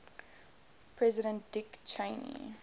president dick cheney